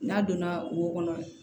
N'a donna wo kɔnɔ